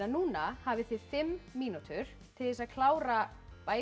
núna hafið þið fimm mínútur til þess að klára